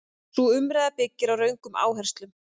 Sú umræða byggir á röngum áherslum.